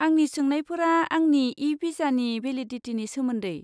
आंनि सोंनायफोरा आंनि इ भिसानि भेलिदिटिनि सोमोन्दै।